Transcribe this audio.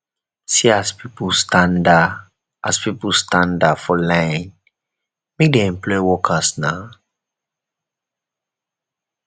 see as pipu standa as pipu standa for line make dem employ workers na